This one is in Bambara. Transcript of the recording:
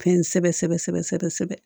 Fɛn kosɛbɛ sɛbɛ sɛbɛ sɛbɛ sɛbɛ